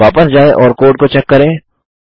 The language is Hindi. वापस जाएँ और कोड को चेक करें